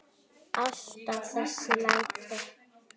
Alltaf þessi læti.